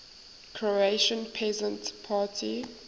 croatian peasant party